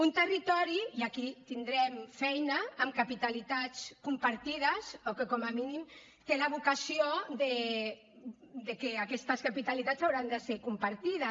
un territori i aquí tindrem feina amb capitalitats compartides o que com a mínim té la vocació de que aquestes capitalitats hauran de ser compartides